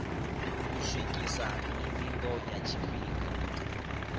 u swikisa mivhigo ya tshifhinga